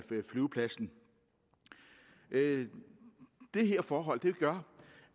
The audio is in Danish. flyvepladsen det forhold gør